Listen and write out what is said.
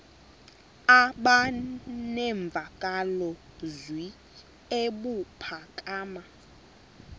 aba nemvakalozwi ebuphakama